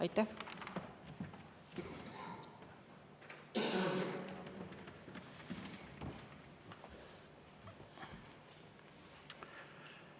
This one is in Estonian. Aitäh!